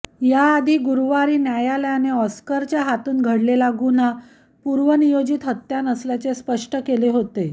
याआधी गुरुवारी न्यायालयाने ऑस्करच्या हातून घडलेला गुन्हा पूर्वनियोजित हत्या नसल्याचे स्पष्ट केले होते